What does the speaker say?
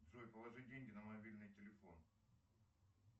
джой положи деньги на мобильный телефон